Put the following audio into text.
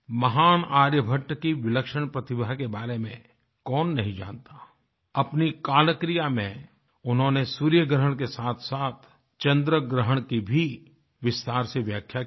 महान आर्यभट की विलक्षण प्रतिभा के बारे में कौननहीं जानता अपनी काल क्रिया में उन्होंने सूर्यग्रहण के साथसाथ चन्द्रग्रहण की भी विस्तार से व्याख्या की है